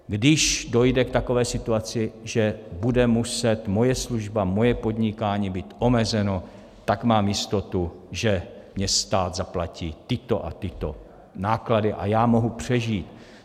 Když dojde k takové situaci, že bude muset moje služba, moje podnikání být omezeno, tak mám jistotu, že mně stát zaplatí tyto a tyto náklady a já mohu přežít.